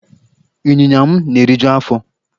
Ịnyinya m na-eriju afọ.